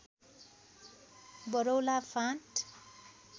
वरौला फाँट